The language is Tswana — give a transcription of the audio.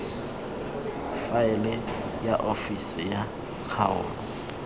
faele ya ofisi ya kgaolo